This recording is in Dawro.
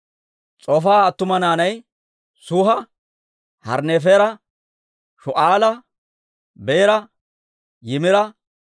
S'ofaaha attuma naanay Suha, Harnneefera, Shu'aala, Beera, Yimira,